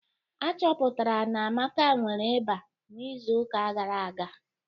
Achọpụtara na Amaka nwere ịba n'izu uka gara aga.